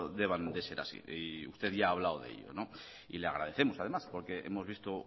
deban de ser así usted ya ha hablado de ello y le agradecemos además porque hemos visto